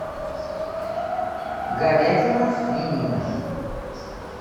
говядина свинина